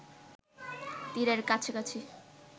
তীরের কাছাকাছি